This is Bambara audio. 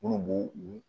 Minnu b'u u